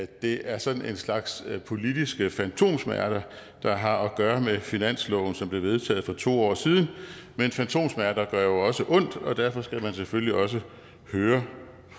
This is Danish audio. det er sådan en slags politiske fantomsmerter der har at gøre med finansloven som blev vedtaget for to år siden men fantomsmerter gør jo også ondt og derfor skal man selvfølgelig også høre